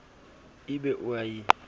e be o a e